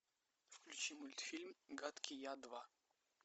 включи мультфильм гадкий я два